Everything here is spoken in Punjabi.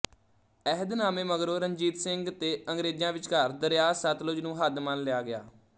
ਅਹਿਦਨਾਮੇ ਮਗਰੋਂ ਰਣਜੀਤ ਸਿੰਘ ਤੇ ਅੰਗਰੇਜ਼ਾਂ ਵਿਚਕਾਰ ਦਰਿਆ ਸਤਲੁਜ ਨੂੰ ਹੱਦ ਮੰਨ ਲਿਆ ਗਿਆ